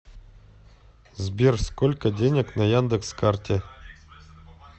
сбер сколько денег на яндекс карте